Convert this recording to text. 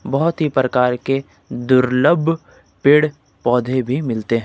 बहुत ही प्रकार के दुर्लभ पेड़ पौधे भी मिलते हैं।